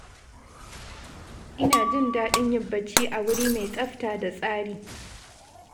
Ina jin daɗin yin bacci a wuri mai tsafta da tsari.